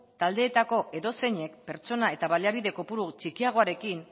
taldeetako edozeinek pertsona eta baliabide kopuru txikiagoarekin